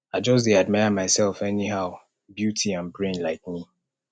i just dey admire myself anyhow beauty and brain like me